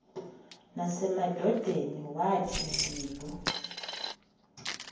nasemadodeni wathi ndilu